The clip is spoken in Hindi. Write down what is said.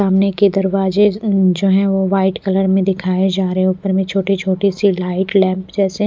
सामने के दरवाजे जो है वो वाइट कलर में दिखाये जा रहे उपर मे छोटी छोटी सी लाइट लैंप जैसे--